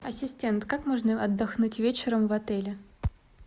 ассистент как можно отдохнуть вечером в отеле